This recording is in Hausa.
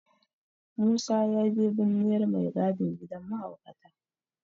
Musa ya je binniyar mai gadin gidan mahaukata.